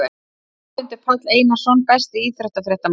Víglundur Páll Einarsson Besti íþróttafréttamaðurinn?